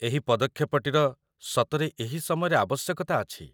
ଏହି ପଦକ୍ଷେପଟିର ସତରେ ଏହି ସମୟରେ ଆବଶ୍ୟକତା ଅଛି ।